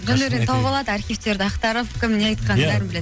жандәурен тауып алады архивтерді ақтарып кім не айтқанын бәрін біледі